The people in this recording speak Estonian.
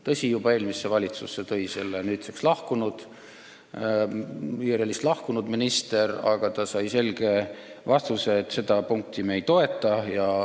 Tõsi, juba eelmisse valitsusse tõi selle nüüdseks IRL-ist lahkunud minister, aga ta sai selge vastuse, et seda punkti me ei toeta.